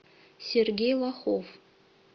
сергей лохов